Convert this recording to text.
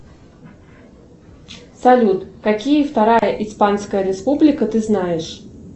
салют какие вторая испанская республика ты знаешь